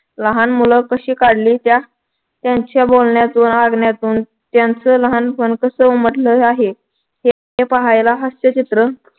लहान मुल कशी काढली त्या त्यांच्या बोलण्यातून वागण्यातून त्यांच लहानपण कस उमटलेल आहे. हे पाहायला हास्यचित्र.